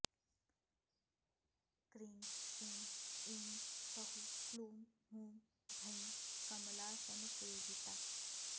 cream श्रीं ऐं सौः क्लूं हूं भैं कमलासनसेविता